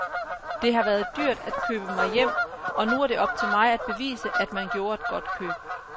Det har været dyrt at købe mig hjem, og nu er det op til mig at bevise, at man gjorde et godt køb.